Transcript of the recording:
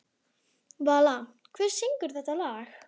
Vala, hver syngur þetta lag?